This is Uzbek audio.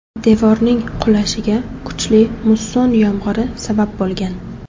Devorning qulashiga kuchli musson yomg‘iri sabab bo‘lgan.